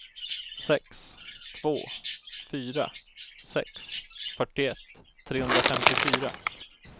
sex två fyra sex fyrtioett trehundrafemtiofyra